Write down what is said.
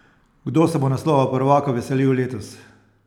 Kdo se bo naslova prvaka veselil letos?